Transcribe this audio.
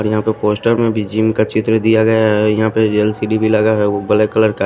और यहां पे पोस्टर में भी जिम का चित्र दिया गया है यहां पे एल_सी_डी भी लगा हैवो ब्लैक कलर का--